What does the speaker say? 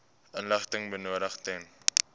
inligting benodig ten